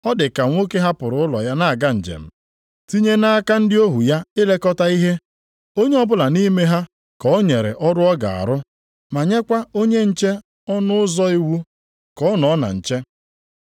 Ọ dị ka nwoke hapụrụ ụlọ ya na-aga njem, tinye nʼaka ndị ohu ya ilekọta ihe, onye ọbụla nʼime ha ka o nyere ọrụ ọ ga-arụ ma nyekwa onye nche ọnụ ụzọ iwu ka ọ nọ na nche.